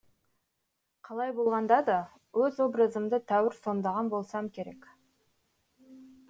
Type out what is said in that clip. қалай болғанда да өз образымды тәуір сомдаған болсам керек